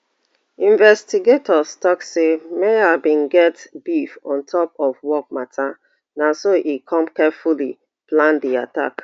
investigators tok say meher bin get beef on top of work mata na so e come carefully plan di attack